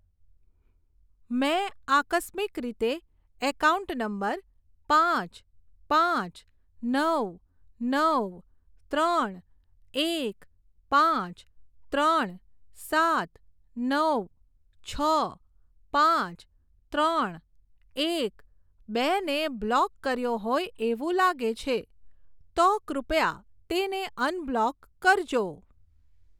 મેં આકસ્મિક રીતે એકાઉન્ટ નંબર પાંચ પાંચ નવ નવ ત્રણ એક પાંચ ત્રણ સાત નવ છ પાંચ ત્રણ એક બે ને બ્લોક કર્યો હોય એવું લાગે છે, તો કૃપયા તેને અનબ્લોક કરજો.